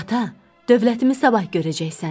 Ata, dövləti sabah görəcəksən.